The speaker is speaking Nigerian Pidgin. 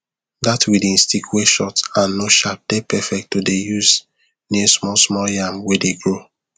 that weeding stick wey short and no sharp dey perfect to dey use near small small yam wey dey grow